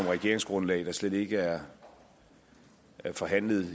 regeringsgrundlag der slet ikke er forhandlet